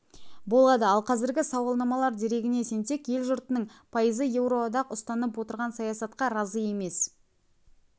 болады ал қазіргі сауалнамалар дерегіне сенсек ел жұртының апйызы еуроодақ ұстанып отырған саясатқа разы емес